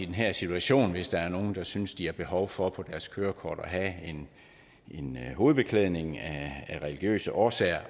den her situation hvis der er nogen der synes at de har behov for på deres kørekort at have en hovedbeklædning af religiøse årsager